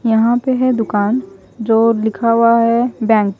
यहां पे है दुकान जो लिखा हुआ है बैंक ।